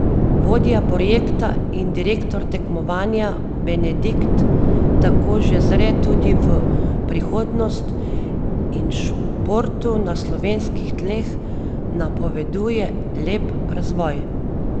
Vodja projekta in direktor tekmovanja Bedenik tako že zre tudi v prihodnost in športu na slovenskih tleh napoveduje lep razvoj.